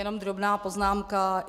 Jenom drobná poznámka.